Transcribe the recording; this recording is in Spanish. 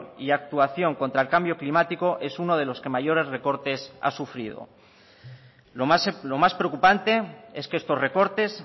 y actuación contra el cambio climático es uno de los que mayores recortes ha sufrido lo más preocupante es que estos recortes